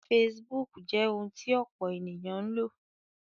Facebook jẹ́ ohun tí ọ̀pọ̀ ènìyàn ń lò